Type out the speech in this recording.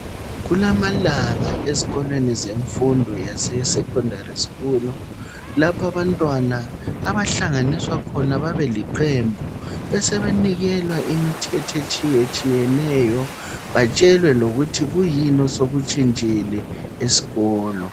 Kulamalanga ezikolweni zemfundo yaseSecondary school lapha abantwana abahlanganiswa khona babeliqembu besebenikelwa imithetho etshiyetshiyeneyo batshelwe lokuthi kuyini osekutshintshile esikolo.